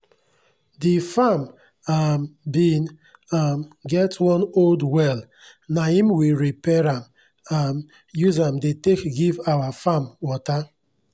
d farm um bin um get one old well naim we repair am um use am dey take give our farm water